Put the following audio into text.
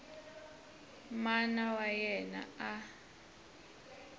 mana wa yena a a